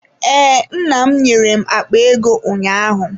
Ee, nna m nyere m akpa ego ụnyaahụ.